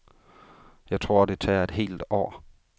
Jeg tror, det tager et helt år.